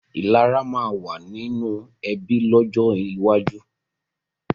Ìlara máa ma wà nínú ẹbí lọ́jọ́ iwájú